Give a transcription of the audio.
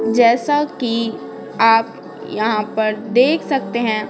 जैसा कि आप यहाँ पर देख सकते हैं।